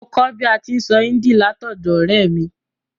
Mo kó bi a ti n sọ Hindi látọ̀dọ̀ ọ̀rẹ́ mi